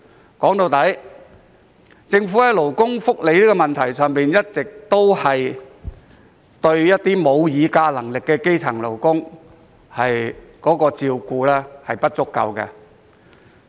歸根究底，在勞工福利方面，政府一直以來對沒有議價能力的基層勞工照顧不足。